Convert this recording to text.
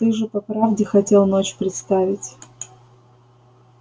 ты же по правде хотел ночь представить